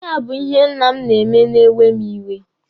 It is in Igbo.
Ihe a bụ ihe nna m na-eme na-ewe mụ iwe.